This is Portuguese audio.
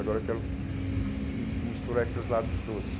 Agora eu quero hum hum misturar esses lados todos.